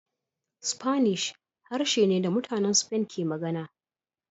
Spanish harshe ne da mutanen Spain ke magana